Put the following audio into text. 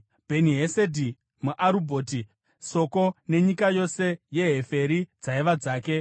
Bheni-Hesedhi muArubhoti (Soko nenyika yose yeHeferi dzaiva dzake).